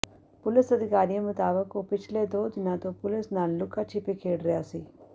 police ਅਧਿਕਾਰੀਆਂ ਮੁਤਾਬਕ ਉਹ ਪਿਛਲੇ ਦੋ ਦਿਨਾਂ ਤੋਂ ਪੁਲਿਸ ਨਾਲ ਲੁਕਾ ਛਿਪੀ ਖੇਡ ਰਿਹਾ ਸੀ